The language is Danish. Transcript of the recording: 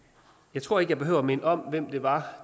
jeg tror ikke jeg behøver at minde om hvem det var